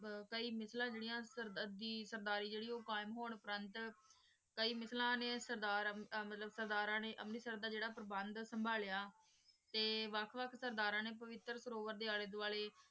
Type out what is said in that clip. ਕਈ ਪੇਚਾਲਾਂ ਸੇਰ੍ਦਾਰੀ ਊ ਕਿਮ ਹੋਣ ਤਕ ਕਈ ਮਿਸਲਾਂ ਨੀ ਸਰਦਾਰ ਮਤਲਬ ਸਰਦਾ ਰਾਯਨ ਨੀ ਅਮਰ੍ਰਤ ਸਿਰ ਦਾ ਜੀਰਾ ਪ੍ਰਬੰਦ ਸਮ੍ਭ੍ਲ੍ਯਾ ਟੀ ਵਖ ਵਖ ਸੇਰ ਦਰਾਂ ਨੀ ਵਿਟਰ ਪਾਰੁਵ੍ਰ ਡੀ ਅਲੀ ਦੁਆਲ੍ਯ